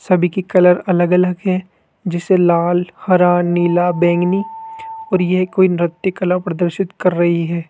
सभी की कलर अलग अलग है जैसे लाल हरा नीला बैंगनी और यह कोई नृत्य कला प्रदर्शित कर रही है।